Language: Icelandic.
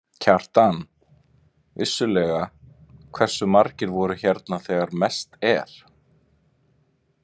Kjartan: Vissulega, hversu margir voru hérna þegar mest er?